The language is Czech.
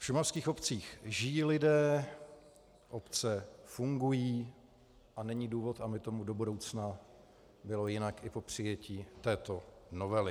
V šumavských obcích žijí lidé, obce fungují a není důvod, aby tomu do budoucna bylo jinak i po přijetí této novely.